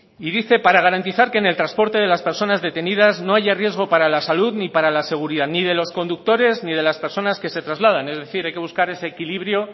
y dice para garantizar que en el transporte de las personas detenidas no haya riesgo para la salud ni para la seguridad ni de los conductores ni de las personas que se trasladan es decir hay que buscar ese equilibrio